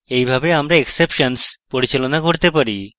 এইভাবে আমরা exceptions পরিচালনা করতে পারি